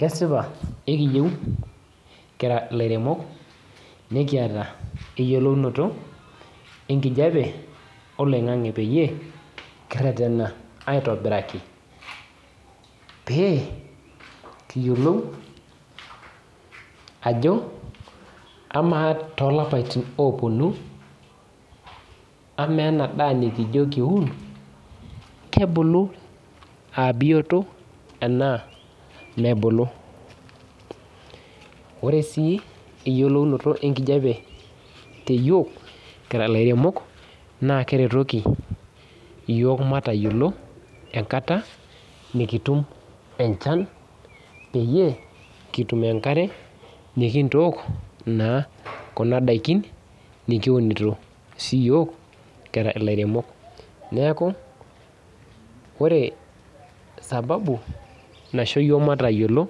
Kesipa ekijo kira laremok nikiata eyioloto oloingangi pekiretena aitobiraki pekiyiolou ajo ama tolapaitin oponu ama ena daa nikijo kiun kebulu aa bioto anaa mebulu ore si eyioloto enkijape kira laremok na keretoki yiok matayiolo enkata nikitum enchan pekitum enkarebmikintook kuna dakin nikiunito siyiok kira lairemok neaku ore sababu naisho yiok matayiolo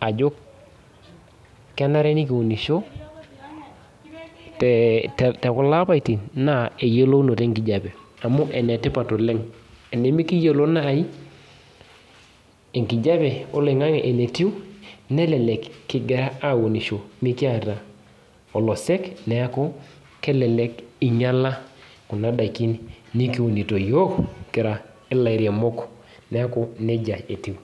ajo kenare nikiunisho tekulo apaitin na eyiolounoto enkijape amu enetipat oleng tenemekiyiolobnai enkijape oloingangi enetiu nelek kingira aunisho mikiata olosek neaku nejia etiu.